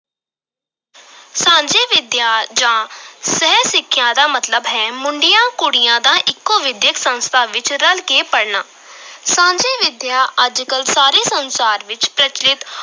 ਸਾਂਝੀ ਵਿਦਿਆ ਜਾਂ ਸਹਿ ਸਿੱਖਿਆ ਦਾ ਮਤਲਬ ਹੈ ਮੁੰਡਿਆਂ ਕੁੜੀਆਂ ਦਾ ਇੱਕੋ ਵਿਦਿਅਕ ਸੰਸਥਾ ਵਿੱਚ ਰਲ ਕੇ ਪੜ੍ਹਨਾ ਸਾਂਝੀ ਵਿਦਿਆ ਅੱਜ ਕਲ ਸਾਰੇ ਸੰਸਾਰ ਵਿਚ ਪ੍ਰਚੱਲਿਤ